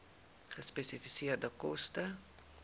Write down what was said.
gespesifiseerde koste